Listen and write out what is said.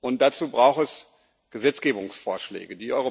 Und dazu braucht es Gesetzgebungsvorschläge.